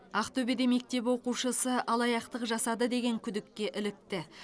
ақтөбеде мектеп оқушысы алаяқтық жасады деген күдікке ілікті